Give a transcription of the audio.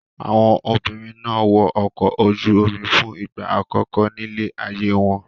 Àwọn obìnrin náà wọ ọkọ̀ ojú-omi fún ìgbà àkọ́kọ́ nílé ayé wọn.